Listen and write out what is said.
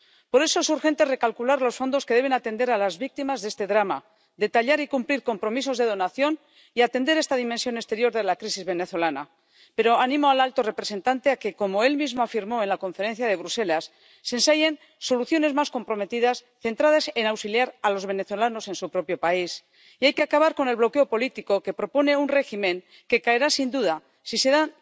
Por eso es urgente recalcular los fondos que deben atender a las víctimas de este drama, detallar y cumplir compromisos de donación y atender esta dimensión exterior de la crisis venezolana. Pero animo al alto representante a que ―como él mismo afirmó en la Conferencia de Bruselas― se ensayen soluciones más comprometidas, centradas en auxiliar a los venezolanos en su propio país Y hay que acabar con el bloqueo político que propone un régimen que caerá, sin duda, si se